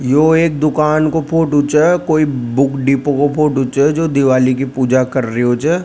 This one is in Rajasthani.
यह एक दुकान को फोटो छे कोई बुक डिपो को फोटो छ जो दिवाली की पूजा कर रही हो छ।